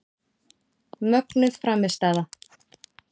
Mögnuð frammistaða.